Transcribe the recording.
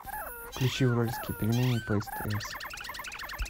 включи уральские пельмени по стс